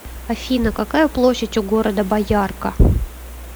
афина какая площадь у города боярка